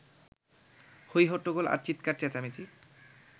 হই-হট্টগোল আর চিৎকার-চেঁচামেচি